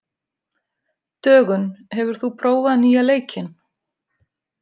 Dögun, hefur þú prófað nýja leikinn?